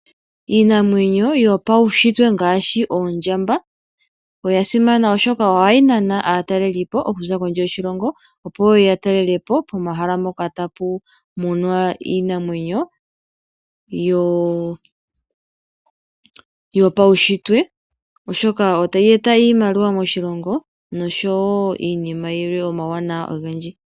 Iinamwenyo yopaushitwe ngaashi oondjamba, oya simana oshoka ohayi nana aatalelipo, okuza kondje yoshilongo, opo yeye ya talelepo omahala mpoka tapu munwa iinamwenyo, yopaushitwe oshoka otayi eta iimaliwa moshilongo noshowo iinima yilwe omawuwanawa ogendji.